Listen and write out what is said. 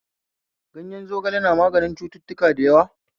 Ganyen zogale na maganin cututtuka da yawa